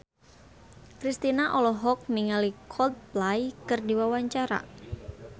Kristina olohok ningali Coldplay keur diwawancara